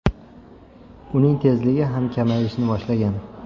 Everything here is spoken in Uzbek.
Uning tezligi ham kamayishni boshlagan.